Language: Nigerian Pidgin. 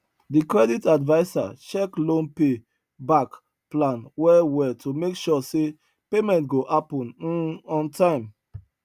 the credit adviser check loan pay back plan well well to make sure say payment go happen um on time